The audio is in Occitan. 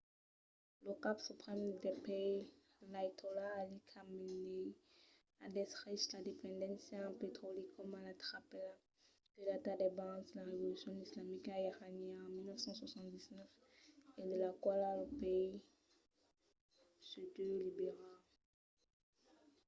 lo cap suprèm del país l'aiatòla ali khamenei a descrich la dependéncia en petròli coma la trapèla que data d'abans la revolucion islamica iraniana en 1979 e de la quala lo país se deu liberar